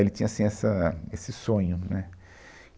Ele tinha, assim, essa, esse sonho, né?